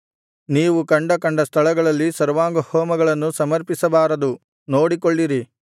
ನೀವು ಕಂಡ ಕಂಡ ಸ್ಥಳಗಳಲ್ಲಿ ಸರ್ವಾಂಗಹೋಮಗಳನ್ನು ಸಮರ್ಪಿಸಬಾರದು ನೋಡಿಕೊಳ್ಳಿರಿ